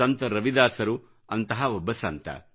ಸಂತ ರವಿದಾಸರು ಅಂತಹ ಒಬ್ಬ ಸಂತ